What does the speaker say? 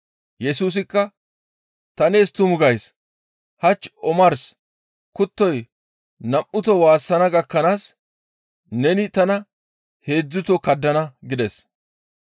Yesusikka, «Ta nees tumu gays; hach omars kuttoy nam7uto waassana gakkanaas neni tana heedzdzuto kaddana» gides.